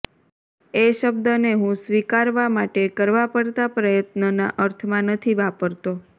એ શબ્દને હું સ્વીકારવા માટે કરવા પડતા પ્રયત્નના અર્થમાં નથી વાપરતો